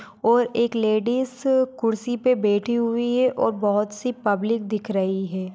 और एक लेडीज खुर्सी पे बैठी हुई है और बहुत सी पब्लिक दिख रही है।